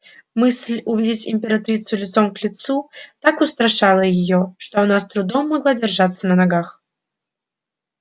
мысль увидеть императрицу лицом к лицу так устрашала её что она с трудом могла держаться на ногах